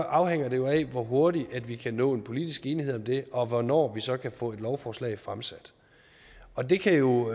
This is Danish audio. afhænger det jo af hvor hurtigt vi kan nå en politisk enighed om det og hvornår vi så kan få et lovforslag fremsat og det kan jo